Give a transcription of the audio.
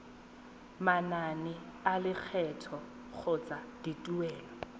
manane a lekgetho kgotsa dituelo